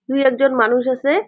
দুই একজন মানুষ আছে ।